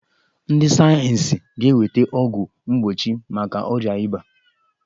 Ndị sayeensị ga-eweta ọgwụ mgbochi maka ọrịa ịba.